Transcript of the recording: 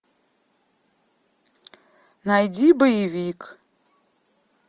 найди боевик